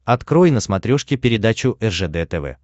открой на смотрешке передачу ржд тв